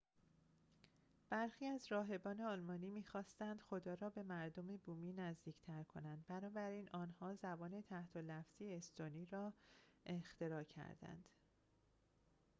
برخی از راهبان آلمانی می خواستند خدا را به مردم بومی نزدیک‌تر کنند بنابراین آنها زبان تحت لفظی استونی را اختراع کردند